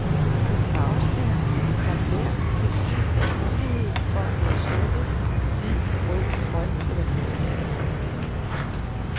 På en farveskærm har hver pixel mulighed for at være slukket, hvid, rød, grøn eller blå.